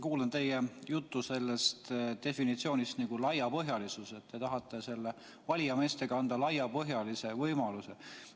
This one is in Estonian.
Kuulan teie juttu sellest laiapõhjalisuse definitsioonist, te tahate valijameeste kaudu anda laiapõhjalise võimaluse.